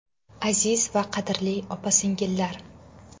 Aziz va qadrli opa-singillar!